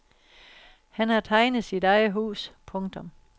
Han har tegnet sit eget hus. punktum